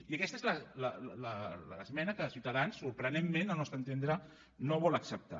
i aquesta és l’esmena que ciutadans sorprenentment al nostre entendre no vol acceptar